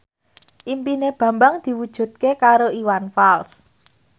impine Bambang diwujudke karo Iwan Fals